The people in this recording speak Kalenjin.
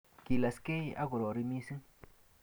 kilaskei akorari missing